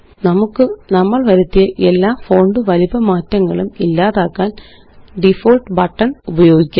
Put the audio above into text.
നമുക്ക് നമ്മള് വരുത്തിയ എല്ലാ ഫോണ്ട് വലിപ്പ മാറ്റങ്ങളും ഇല്ലാതാക്കാന് ഡിഫോൾട്ട് ബട്ടണ് ഉപയോഗിക്കാം